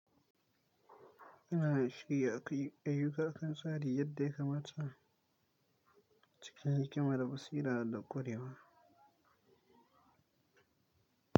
Ina da shiri a kai ayyuka akan tsari yadda ya kamata cikin hikima da basira da ƙurewa.